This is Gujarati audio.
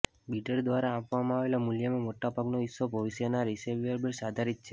બિડર દ્વારા આપવામાં આવેલા મૂલ્યમાં મોટા ભાગનો હિસ્સો ભવિષ્યના રિસીવેબલ્સ આધારિત છે